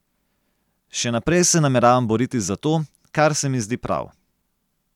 Še naprej se nameravam boriti za to, kar se mi zdi prav.